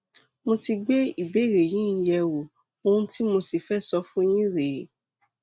mo ti gbé ìbéèrè yín yẹwò ohun tí mo sì fẹ sọ fún yín rèé